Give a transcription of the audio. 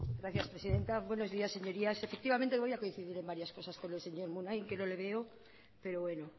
gracias presidenta buenos días señorías efectivamente voy a coincidir en varias cosas con el señor munain que no le veo pero bueno